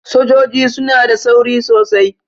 Sojoji suna da tsauri sosai.